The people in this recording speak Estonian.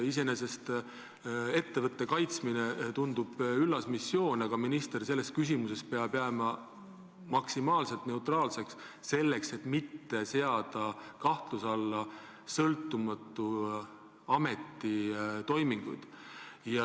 Iseenesest tundub ettevõtte kaitsmine olevat üllas missioon, aga minister peaks niisuguses küsimuses jääma maksimaalselt neutraalseks, et mitte seada kahtluse alla sõltumatu ameti toiminguid.